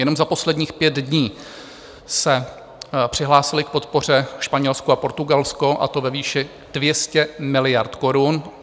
Jenom za posledních pět dní se přihlásily k podpoře Španělsko a Portugalsko, a to ve výši 200 miliard korun.